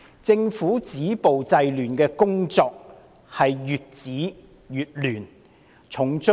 政府止暴制亂的工作，可說是越止越亂。